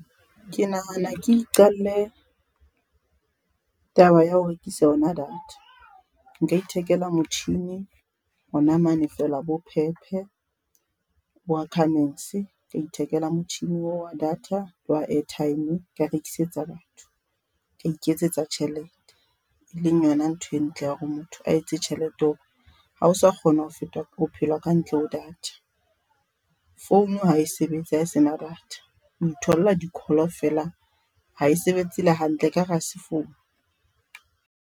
Ke nahana ke iqalle, taba ya ho rekisa yona data. Nka ithekela motjhini hona mane feela bo Pep bo Ackermans, ka ithekela motjhini oo wa data le wa airtime ka rekisetsa batho. Ka iketsetsa tjhelete, e leng yona ntho e ntle ya hore motho a etse tjhelete hore ha o sa kgona ho fetwa ke bophelo ka ntle ho data. Founu hae sebetse ha e sena data, o itholla di-call feela hae sebetse le hantle ekare hase founu.